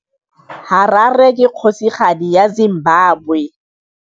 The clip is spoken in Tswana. Harare ke kgosigadi ya Zimbabwe.